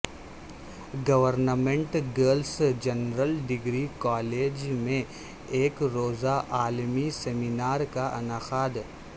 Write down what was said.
government girls general degree college میں یک روزہ عالمی سمینار کا انعقاد